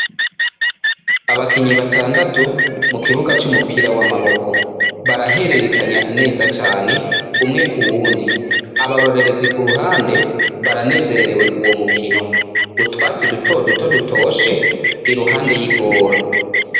Abakinyi batandatu mu mupira w'amaboko. Barahererekanya neza cane, umwe ku wundi. Abarorerezi ku ruhande baranezererewe uwo mukino. Utwatsi dutoduto dutoshe iruhande y'igoro.